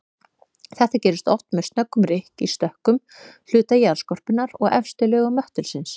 Þetta gerist oft með snöggum rykk í stökkum hluta jarðskorpunnar og efstu lögum möttulsins.